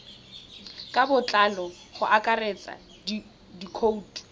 ka botlalo go akaretsa dikhoutu